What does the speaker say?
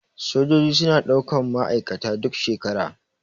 Sojaji suna ɗaukan ma aikata duk shekara.